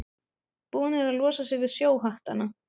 Búnir að losa sig við sjóhattana.